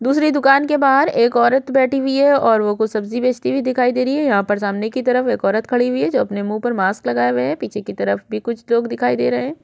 दूसरी दुकान के बाहर एक औरत बैठी हुई है और वो कुछ सब्जी बेचती हुई दिखाई दे रही है यहाँ पर सामने की तरफ एक औरत खड़ी हुई है जो अपने मुँह पे मास्क लगाए हुए है पीछे की तरफ भी कुछ लोग दिखाई दे रहे है।